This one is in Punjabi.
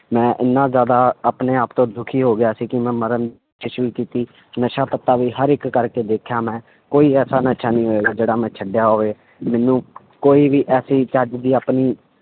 ਮੈਂ ਇੰਨਾ ਜ਼ਿਆਦਾ ਆਪਣੇ ਆਪ ਤੋਂ ਦੁੱਖੀ ਹੋ ਗਿਆ ਸੀ ਕਿ ਮੈਂ ਮਰਨ ਵੀ ਕੀਤੀ, ਨਸ਼ਾ ਪੱਤਾ ਵੀ ਹਰ ਇੱਕ ਕਰਕੇ ਦੇਖਿਆ ਮੈਂ, ਕੋਈ ਐਸਾ ਨਸ਼ਾ ਨਹੀਂ ਹੋਏਗਾ ਜਿਹੜਾ ਮੈਂ ਛੱਡਿਆ ਹੋਵੇ ਮੈਨੂੰ ਕੋਈ ਵੀ ਐਸੀ ਚੱਜ ਦੀ ਆਪਣੀ